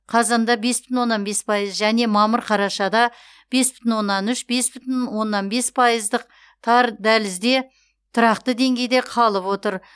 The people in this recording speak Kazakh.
қазанда бес бүтін оннан бес пайыз және мамыр қарашада бес бүтін оннан үш бес бүтін оннан бес пайыздық тар дәлізде тұрақты деңгейде қалып отыр